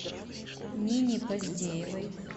нине поздеевой